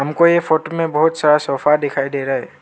हमको यह फोटो में बहुत सारा सोफा दिखाई दे रहा है।